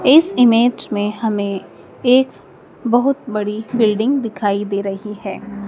इस इमेज में हमें एक बहुत बड़ी बिल्डिंग दिखाई दे रही है।